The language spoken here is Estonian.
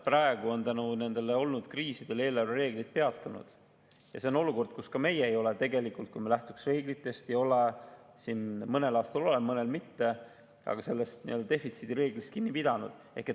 Praegu on kriiside tõttu eelarvereeglid peatunud ja see on olukord, kus ka meie ei ole, kui me lähtuks reeglitest – mõnel aastal oleme, mõnel mitte –, sellest defitsiidireeglist kinni pidanud.